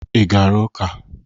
Ị gara ụka?